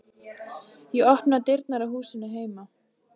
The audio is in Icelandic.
Ég opna dyrnar á húsinu heima.